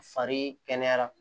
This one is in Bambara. Fari kɛnɛyara